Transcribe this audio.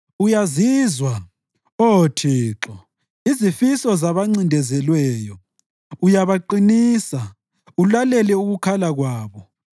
Uyazizwa, Oh Thixo, izifiso zabancindezelweyo; uyabaqinisa, ulalele ukukhala kwabo,